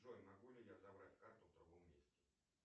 джой могу ли я забрать карту в другом месте